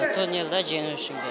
турнирді жеңу үшін келдік